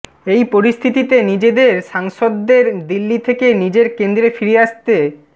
এই পরিস্থিতিতে নিজেদের সাংসদদের দিল্লি থেকে নিজের কেন্দ্রে ফিরে আসতে